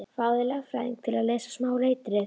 Fáðu þér lögfræðing til að lesa smáa letrið.